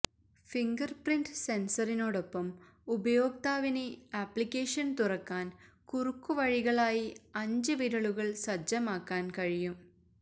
fingerprint സെന്സറിനോടൊപ്പം ഉപയോക്താവിന് ആപ്ലിക്കേഷന് തുറക്കാന് കുറുക്കുവഴികളായി അഞ്ച് വിരലുകള് സജ്ജമാക്കാന് കഴിയും